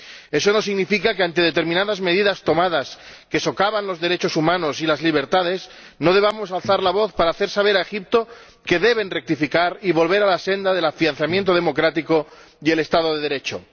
Eso no significa que, ante determinadas medidas tomadas que socavan los derechos humanos y las libertades, no debamos alzar la voz para hacer saber a Egipto que debe rectificar y volver a la senda del afianzamiento democrático y el Estado de Derecho.